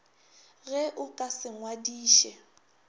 ge o ka se ngwadiše